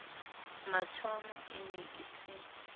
mathomo e ne e se